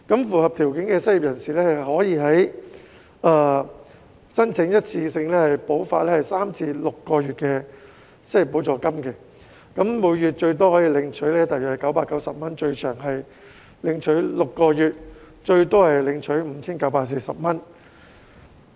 符合條件的失業人士可以申請一次性補發3個月至6個月的失業補助金，每月最多可領取大約990元，最長可領取6個月和最多可領取 5,940 元。